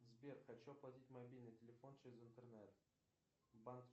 сбер хочу оплатить мобильный телефон через интернет